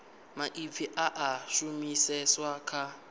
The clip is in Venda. maipfi a a shumiseswa kha